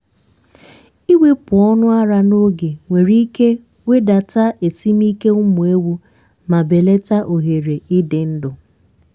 ịwepụ ọnụ ara n'oge nwere ike wedata esimike ụmụ ewu ma belata ohere ịdị ndu.